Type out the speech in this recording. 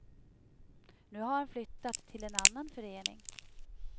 Nu har han flyttat till en annan förening.